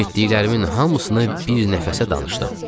Eşitdiklərimin hamısını bir nəfəsə danışdım.